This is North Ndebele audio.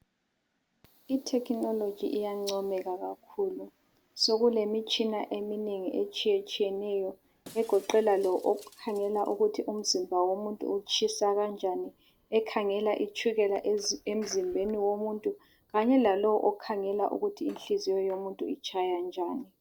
Itechnology iyancomeka kakhulu sokulemitshina eminengi etshiyetshiyeneyo egoqela lo okhangela ukuthi umzimba womuntu utshisa kanjani ekhangela itshukela emzimbeni womuntu kanye lalowo okhangela ukuthi inhliziyo yomuntu itshaya njani.